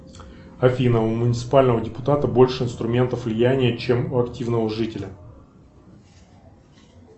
афина у муниципального депутата больше инструментов влияния чем у активного жителя